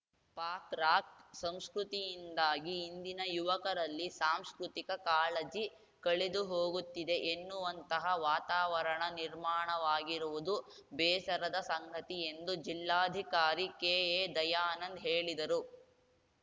ಪಾಕ್‌ರಾಕ್‌ ಸಂಸ್ಕೃತಿಯಿಂದಾಗಿ ಇಂದಿನ ಯುವಕರಲ್ಲಿ ಸಾಂಸ್ಕೃತಿಕ ಕಾಳಜಿ ಕಳೆದುಹೋಗುತ್ತಿದೆ ಎನ್ನುವಂತಹ ವಾತಾವರಣ ನಿರ್ಮಾಣವಾಗಿರುವುದು ಬೇಸರದ ಸಂಗತಿ ಎಂದು ಜಿಲ್ಲಾಧಿಕಾರಿ ಕೆಎದಯಾನಂದ್‌ ಹೇಳಿದರು